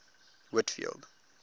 whitfield